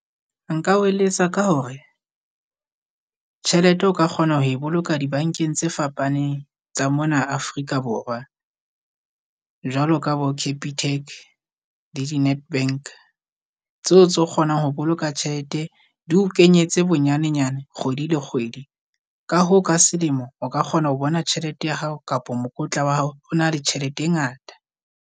Nka o eletsa ka hore tjhelete o ka kgona ho e boloka dibankeng tse fapaneng tsa mona Afrika Borwa. Jwalo ka bo Capitec le di-Netbank tseo tse o kgonang ho boloka tjhelete di o kenyetse bonyane-nyane kgwedi le kgwedi, ka hoo ka selemo o ka kgona ho bona tjhelete ya hao kapa mokotla wa hao o na le tjhelete e ngata.